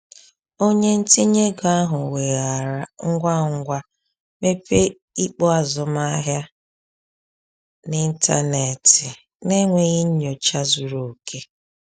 Onye ntinye ego ahụ weghaara ngwa ngwa mepee ikpo azụmahịa n’ịntanetị n’enweghị nnyocha zuru oke.